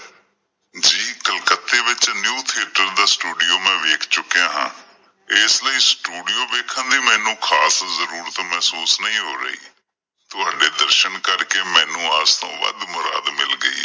ਕਲਕੱਤੇ ਵਿੱਚ ਦਾ ਸਟੂਡੀਓ ਮੈਂ ਵੇਖ ਚੁੱਕਿਆ ਹਾਂ। ਇਸ ਲਈ ਸਟੂਡੀਓ ਵੇਖਣ ਦੀ ਮੈਨੂੰ ਖਾਸ ਜਰੂਰਤ ਮਹਿਸੂਸ ਨਹੀਂ ਹੋ ਰਹੀ ਤੁਹਾਡੇ ਦਰਸ਼ਨ ਕਰਕੇ ਮੈਨੂੰ ਆਸ ਤੋਂ ਵੱਧ ਮੁਰਾਦ ਮਿਲ ਗਈ ਏ।